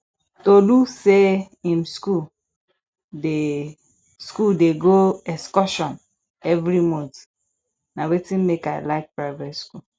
tolu say im school dey school dey go excursion every month na wetin make i like private school